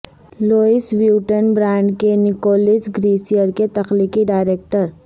Louis Vuitton brand کے Nicolas گیسریئر کے تخلیقی ڈائریکٹر